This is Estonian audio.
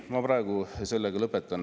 Ei, ma praegu sellega lõpetan.